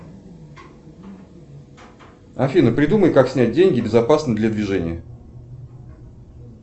афина придумай как снять деньги безопасно для движения